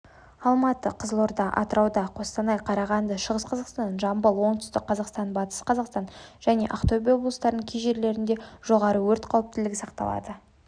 алматы қызылорда атырауда қостанай қарағанды шығыс қазақстан жамбыл оңтүстік қазақстан батыс қазақстан және ақтөбе облыстарының кей жерлерінде жоары өрт қауіптілігі сақталады